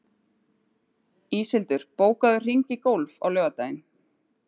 Íshildur, bókaðu hring í golf á laugardaginn.